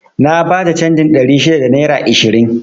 Na bata canjin ɗari shida da naira ishirin